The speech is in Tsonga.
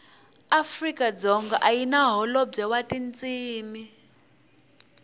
afrikadzonga ayina hholobwe watintshimi